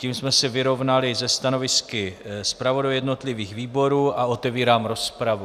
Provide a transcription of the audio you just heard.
Tím jsme se vyrovnali se stanovisky zpravodajů jednotlivých výborů a otevírám rozpravu.